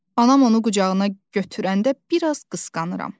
Anam onu qucağına götürəndə bir az qısqanıram.